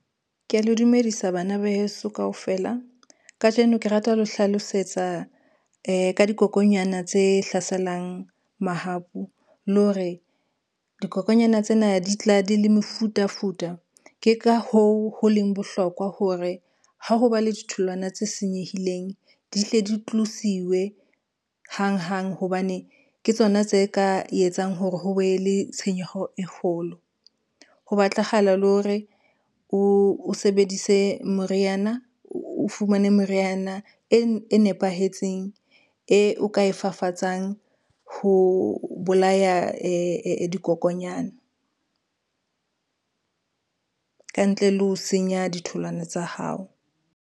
Ke a le dumedisa bana ba heso kaofela. Kajeno ke rata ho hlalosetsa ka dikokonyana tse hlaselang mahapu le hore dikokonyana tsena di tla di le mefutafuta. Ke ka hoo, ho leng bohlokwa hore ha ho ba le ditholwana tse senyehileng di hle di tlosiwe hanghang hobane ke tsona tse ka etsang hore ho be le tshenyeho e kgolo. Ho batlahala le hore o sebedise moriana, o fumane meriana e nepahetseng eo ka e fafatsang ho bolaya dikokonyana ka ntle le ho senya ditholwana tsa hao.